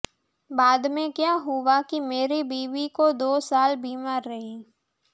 બાદમેં કયા હુઆ કી મેરી બીવી દો સાલ બીમાર રહી